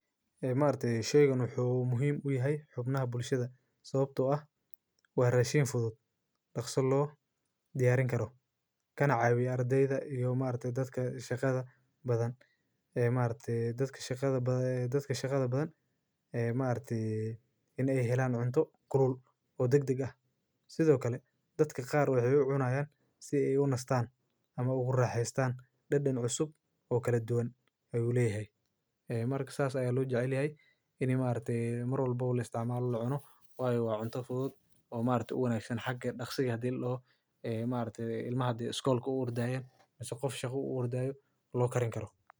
Ee ma arti sheygan wuxuu muhiim u yahay xubnaha bulshada, sababtoo ah waan raashin fudud, dhakhso loo diyaarin karo. Kana caawi ardayda iyo ma arti dadka shaqada badan. Ee ma artii dadka shaqada badan, ee dadka shaqada badan ee ma artii inay helaan cunto qurul oo degdeg ah. Sidoo kale dadka qaar u xeeb cunayaan si ay una istaan ama ogolaan haystaan dhadhan cusub oo kala duwan ay ula yahay. Ee marka saas ayaa loo jecliyay inay ma arti marwal boow la isticmaalno lucuno waayo wacno fudud oo ma artii ugu naaxidhan xagga dhakhso ah dil loo, ee ma artii ilmaha diuskoolku uur da'aan, ninku qof shaku uur dayu loo karin karo.